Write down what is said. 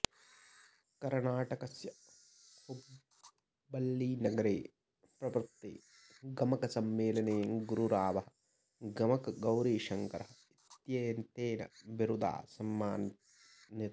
कर्णाटकस्य हुब्बल्लीनगरे प्रवृत्ते गमकसम्मेलने गुरुरावः गमकगौरीशङ्करः इत्येतेन बिरुदा सम्मानितः